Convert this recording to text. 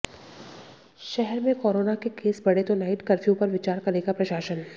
शहर में कोरोना के केस बढ़े तो नाइट कफ्र्यू पर विचार करेगा प्रशासन